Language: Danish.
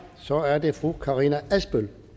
så er det fru karina adsbøl